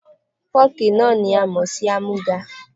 Fọ́ọ̀kì náà ni a mọ̀ sí àmúga.